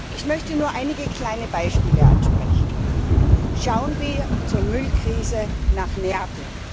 Ich möchte nur einige kleine Beispiele ansprechen Schauen wir zur Müllkrise nach Neapel.